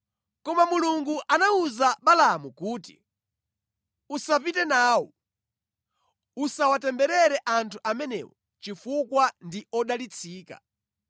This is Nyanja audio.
Koma Mulungu anawuza Balaamu kuti, “Usapite nawo. Usawatemberere anthu amenewo chifukwa ndi odalitsika.”